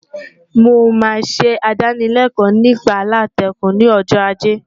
Mo máa ṣe ìdánılẹ́kọ̀ọ́ nípa aláǹtakùn ni ọjọ́ ajé.